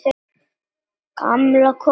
Gamla konan er farin.